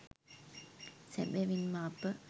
සැබැවින්ම අප